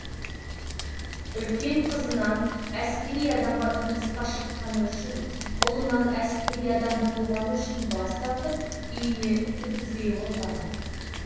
үлкен қызынан әскери адамға тұрмысқа шыққаны үшін ұлынан әскери адам болғаны үшін бас тартып үйіне кіргізбей қойған